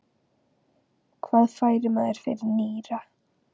Hvað fær maður fyrir nýra?